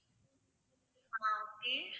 ஆஹ் okay